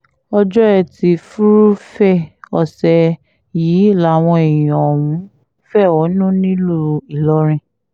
ọjọ́ etí furuufee ọ̀sẹ̀ yìí làwọn èèyàn ọ̀hún fẹ̀hónú nílùú ìlọrin